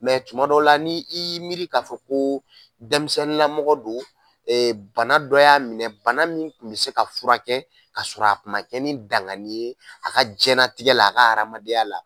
Mɛ tuma dɔ la ni i y'i miiri k'a fɔ ko denmisɛnninlamɔgɔ don, bana dɔ y'a minɛ, bana min kun bɛ se ka furakɛ, ka sɔrɔ a kuma kɛ ni danganni ye a ka jɛnɛlatigɛ la, a ka hadamadenya la.